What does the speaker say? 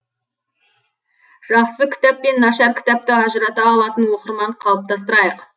жақсы кітап пен нашар кітапты ажырата алатын оқырман қалыптастырайық